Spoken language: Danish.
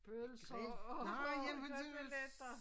Pølser og koteletter